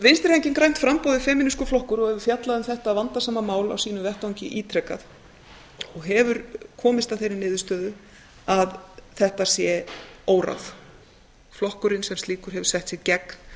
vinstri hreyfingin grænt framboð er femínískur flokkur og hefur fjallað um þetta vandasama mál á sínum vettvangi ítrekað og hefur komist að þeirri niðurstöðu að þetta sé óráð flokkurinn sem slíkur hefur sett sig gegn